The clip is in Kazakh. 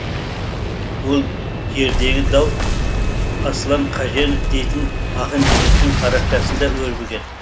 ол жердегі дау аслан қаженов дейтін ақын жігіттің парақшасында өрбіген